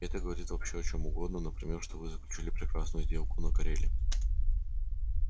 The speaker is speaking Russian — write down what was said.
и это говорит вообще о чём угодно например что вы заключили прекрасную сделку на кореле